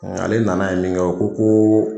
Ale nan' ye min kɛ ko ko